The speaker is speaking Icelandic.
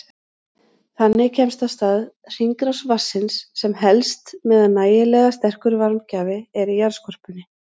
Þannig kemst af stað hringrás vatnsins sem helst meðan nægilega sterkur varmagjafi er í jarðskorpunni.